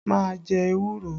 Má a jẹ ewúro!